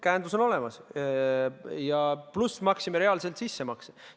Käendus on olemas, pluss maksime reaalselt sissemakse.